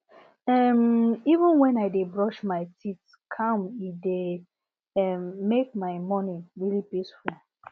um even when i dey brush my teeth calm e dey um make my morning really peaceful